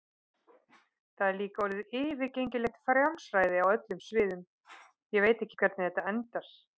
Það er líka orðið yfirgengilegt frjálsræði á öllum sviðum, ég veit ekki hvernig þetta endar.